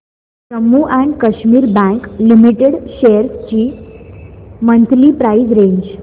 Jammu and Kashmir bank limited shares ची monthly price range